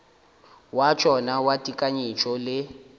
wa tšona wa tekanyetšo le